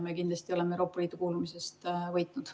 Me kindlasti oleme Euroopa Liitu kuulumisest võitnud.